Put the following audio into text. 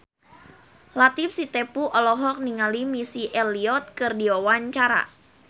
Latief Sitepu olohok ningali Missy Elliott keur diwawancara